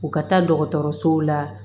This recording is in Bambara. U ka taa dɔgɔtɔrɔsow la